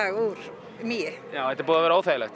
úr mýi þetta er búið að ver óþægilegt